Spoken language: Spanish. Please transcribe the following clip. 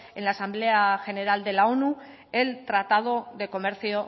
en la asamblea general de la onu el tratado